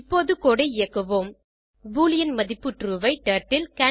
இப்போது கோடு ஐ இயக்குவோம் பூலியன் மதிப்பு ட்ரூ ஐ டர்ட்டில்